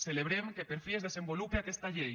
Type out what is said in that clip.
celebrem que per fi es desenvolupe aquesta llei